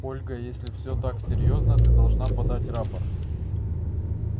ольга и если все так серьёзно ты должна подать рапорт